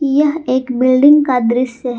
यह एक बिल्डिंग का दृश्य है।